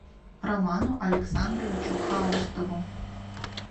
роману александровичу хаустову